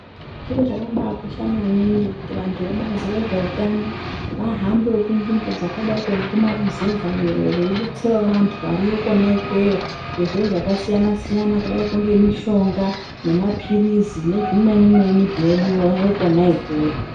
Chiro chakabai kosha maningi kuti vantu vebazi re zveutano vahambewo ku nzvimbo dzakadaiko ngekuma ruzevha iyo vei detserawo vantu variyo kona ikweyo ngezviro zvaka siyana siyana kudaiko nge mishonga ne mapirizi ne zvimweni mweni zvinodiwayo kona ikweyo.